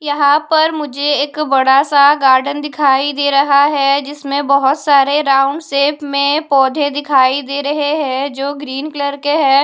यहां पर मुझे एक बड़ा सा गार्डन दिखाई दे रहा है। जिसमें बहुत सारे राउंड शेप में पौधे दिखाई दे रहे हैं जो ग्रीन कलर के है।